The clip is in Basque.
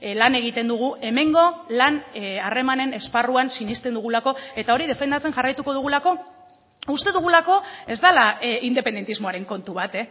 lan egiten dugu hemengo lan harremanen esparruan sinesten dugulako eta hori defendatzen jarraituko dugulako uste dugulako ez dela independentismoaren kontu bat